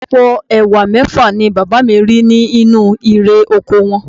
Àpò Ẹ̀wà mẹ́fà ni bàbá mi rí nínú irè oko wọn